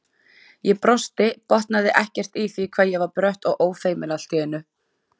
Ég brosti, botnaði ekkert í því hvað ég var brött og ófeimin allt í einu.